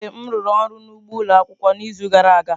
Ee m rụrụ ọrụ n'ugbo ụlọ akwụkwọ n'izu gara aga.